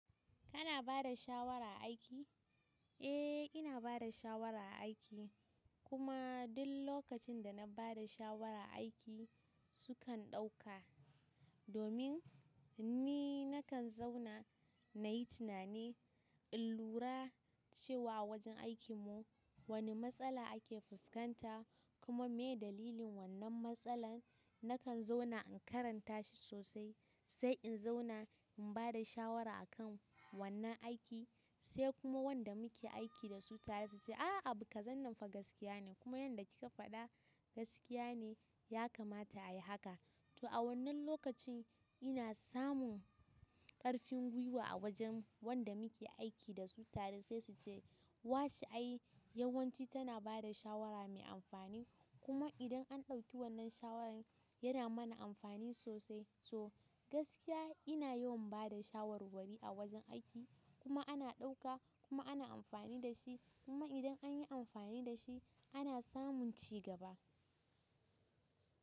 Kana bada shawara a aiki? Eh, ina bada shawara a aiki. Kuma duk lokacin da na bada shawara aiki sukan ɗauka. Domin ni nakan zauna nayi tunani in lura cewa a wajen aikin mu wani matsala ake fuskanta kuma me dalilin wannan matsalar. Nakan zauna in karanta shi sosai sai in zauna in bada shawara a kan wannan aiki sai kuma wanda muke aiki dasu suce "ah abu kazan nan gaskiya ne, kuma yanda kika faɗa gaskiya ne ya kamata ayi haka" to a wannan lokacin ina samun ƙarfin gwiwa a wajen wanda muke aiki da su tare sai su ce “wace ai yawanci tana bada shawara mai amfani kuma idan an ɗauki wannan shawarar yana mana amfani sosai”. So gaskiya ina yawan bada shawarwari a wajen aiki kuma ana ɗauka kuma ana amfani da shi kuma idan anyi amfani da shi ana samun cigaba.